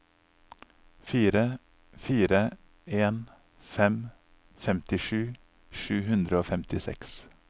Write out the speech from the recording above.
fire fire en fem femtisju sju hundre og femtiseks